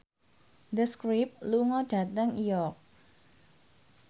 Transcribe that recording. The Script lunga dhateng York